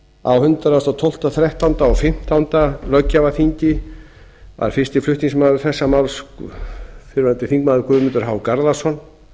á hundrað og tólfta hundrað og þrettánda og hundrað og fimmtándu löggjafarþingi var fyrsti flutningsmaður þessa máls fyrrverandi þingmaður guðmundur h garðarsson